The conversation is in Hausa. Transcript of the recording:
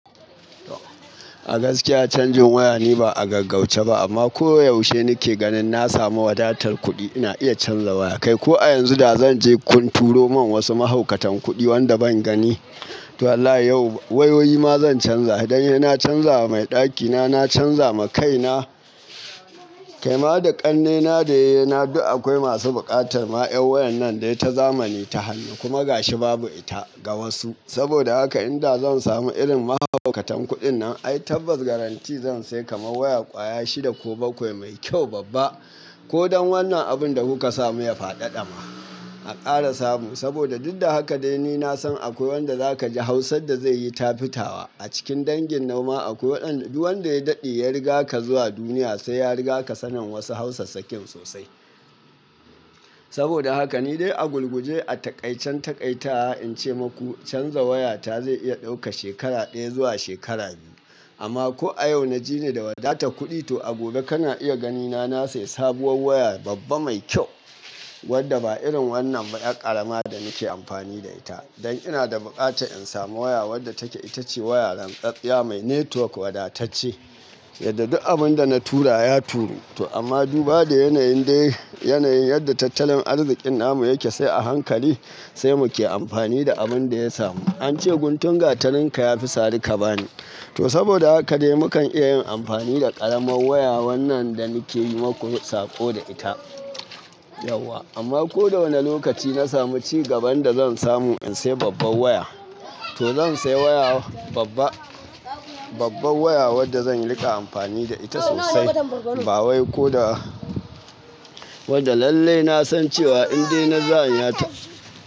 A gaskiya canjin waya ni ba a gaggauce ba amma koyaushe nake ganin na samu wadatar kuɗi ina iya canza waya. Kai ko a yanzu da zan je kun turo mun wasu mahaukatan kuɗi wanda ban gani, to wallahi yau wayoyi ma zan canza. Idan yana canza wa mai ɗakina na canza ma kaina. Kaima da ƙannena da yayana duk akwai masu buƙatar ma'an wayar nan da ita zamani ta hannu kuma gashi babu ita ga wasu. Saboda haka idan zan samu irin mahaukatan kuɗin nan ai tabbas garantti zan sai kama waya kwaya shida ko bakwai mai kyau babba. Ko don wannan abun da kuka samu ya fadada ma a ƙara samu. Saboda duk da haka dai ni na san akwai wanda zaka ji hausan da zai yi tafitawa a cikin dangin noma akwai ɗanɗu wanda ya daɗe ya riga ka zuwa duniya sai ya riga ka sanin wasu hausa sakin sosai. Saboda haka ni dai a gulguje a taƙaicen taƙaitawa in ce maku canza waya ta zai iya ɗauka shekara ɗaya zuwa shekara biyu. Amma ko a yau na ji ni da wadata kuɗi to a gobe kana iya gani na na sayi sabuwar waya babba mai kyau wadda ba irin wannan ba ƴar ƙarama da nake amfani da ita. Dan ina da buƙatan in samu waya wadda take ita ce waya lanƙaɗɗiya mai netwok wadatacce yadda duk abin da na tura ya turo. To amma duba da yanayin dai yanayin yadda tattalin arzikin namu yake sai a hankali sai muke amfani da abin da ya samu. An ce guntun gatarinka ya fi sari ka bani. To saboda haka dai mukan iya yin amfani da ƙaramar waya wannan da nake yi maku saƙo da ita yauwa. Amma ko da wane lokaci na samu cigaban da zan samu in sai babbar waya. To zan sai waya babba babbar waya wadda zan riƙa amfani da ita sosai. Ba wai ko da wadda lalle na san cewa in dai na zana ta.